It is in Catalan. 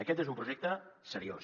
aquest és un projecte seriós